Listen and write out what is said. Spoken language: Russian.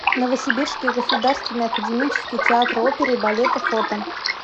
новосибирский государственный академический театр оперы и балета фото